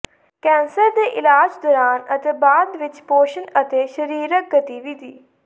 cancer ਦੇ ਇਲਾਜ ਦੌਰਾਨ ਅਤੇ ਬਾਅਦ ਵਿੱਚ ਪੋਸ਼ਣ ਅਤੇ ਸਰੀਰਕ ਗਤੀਵਿਧੀ